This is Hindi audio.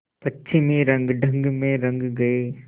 पश्चिमी रंगढंग में रंग गए